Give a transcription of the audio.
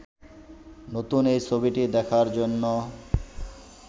নতুন এ ছবিটি দেখার জন্য